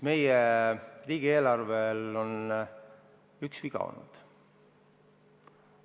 Meie riigieelarvel on üks viga olnud.